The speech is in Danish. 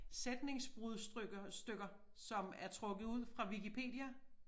Sætningsbrudstykker stykker som er trukket ud fra Wikipedia